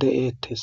de'eettes.